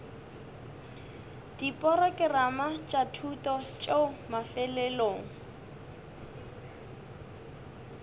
diporokerama tša thuto tšeo mafelelong